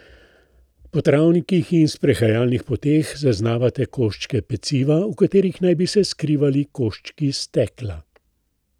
Po travnikih in sprehajalnih poteh zaznavate koščke peciva, v katerih naj bi se skrivali koščki stekla.